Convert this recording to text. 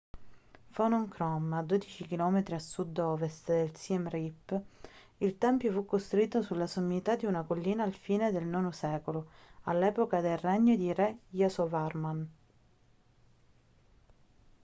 phnom krom 12 km a sud-ovest di siem reap il tempio fu costruito sulla sommità di una collina alla fine del ix secolo all'epoca del regno di re yasovarman